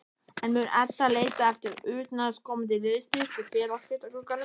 En mun Edda leita eftir utanaðkomandi liðsstyrk í félagsskiptaglugganum?